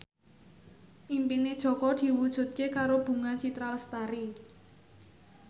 impine Jaka diwujudke karo Bunga Citra Lestari